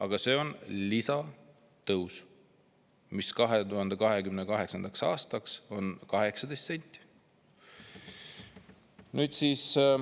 Aga see 18 senti 2028. aastaks on lisatõus.